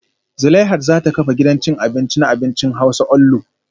Zuleihat za ta kafa gidan cin abinci na abincin hausa onlu